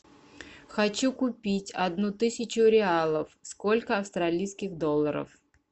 хочу купить одну тысячу реалов сколько австралийских долларов